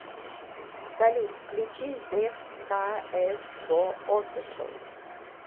салют включи зевс ка эс го офишл